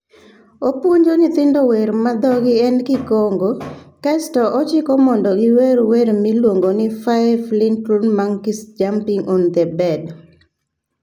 Opuonjo nyithindo wer ma dhogi en Kikongo, kae to ochiko mondo giwer wer miluongo ni "Five Little Monkey Jumping on The Bed".